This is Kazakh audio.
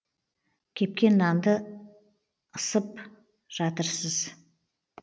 кепкен нанды ысып жатырсыз